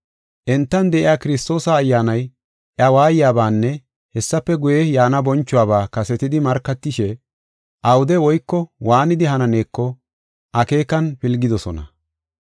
Entan de7iya Kiristoosa Ayyaanay iya waayabanne hessafe guye, yaana bonchuwaba kasetidi markatishe, awude woyko waanidi hananeeko akeekan pilgidosona.